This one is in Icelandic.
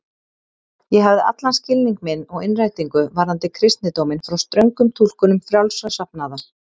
Ég hafði allan skilning minn og innrætingu varðandi kristindóminn frá ströngum túlkunum frjálsra safnaða.